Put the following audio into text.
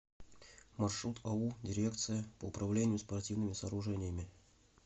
маршрут ау дирекция по управлению спортивными сооружениями